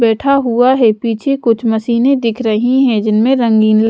बैठा हुआ है पीछे कुछ मशीने दिख रही हैं जिनमें रंगीन ल--